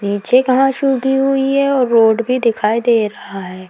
नीचे घाश उगी हुई है और रोड भी दिखाई दे रहा है।